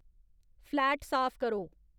flat साफ करो